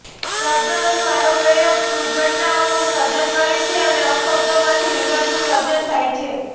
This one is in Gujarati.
શબ્દોનો સારો પ્રયોગ શુભ ઘટનાઓનું સર્જન કરે છે અને અપશબ્દોમાંથી વિવાદનું સર્જન થાય છે